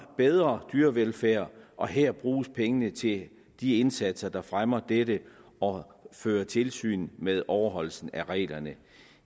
bedre dyrevelfærd og her bruges pengene til de indsatser der fremmer dette og fører tilsyn med overholdelsen af reglerne